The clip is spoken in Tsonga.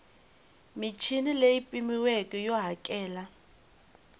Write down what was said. michini leyi pimiweke yo hakela